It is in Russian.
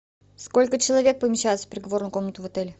сколько человек помещается в переговорную комнату в отеле